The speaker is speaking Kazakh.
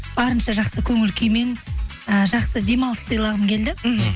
барынша жақсы көңіл күймен ыыы жақсы демалыс сыйлағым келді мхм